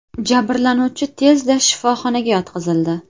Jabrlanuvchi tezda shifoxonaga yotqizildi.